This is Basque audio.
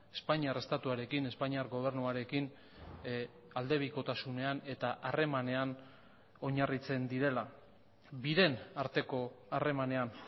espainiar estatuarekin espainiar gobernuarekin aldebikotasunean eta harremanean oinarritzen direla biren arteko harremanean